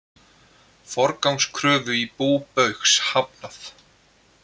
Forgangskröfu í bú Baugs hafnað